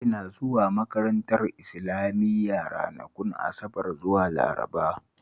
Ina zuwa makarantar Islamiya ranakun Asabar zuwa Laraba